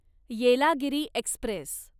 Yelagiri Express